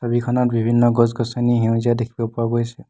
ছবিখনত বিভিন্ন গছ-গছনি সেউজীয়া দেখিব পোৱা গৈছে।